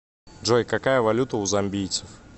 джой какая валюта у замбийцев